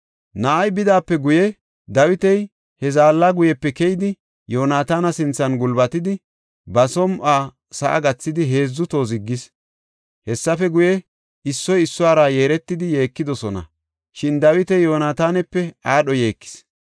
Na7ay bidaape guye, Dawiti he zaalla guyepe keyidi Yoonataana sinthan gulbatidi, ba som7uwa sa7a gathidi heedzu toho ziggis. Hessafe guye, issoy issuwara yeeretidi yeekidosona, shin Dawiti Yoonatanape aadho yeekis.